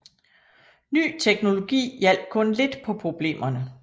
Ny teknologi hjalp kun lidt på problemerne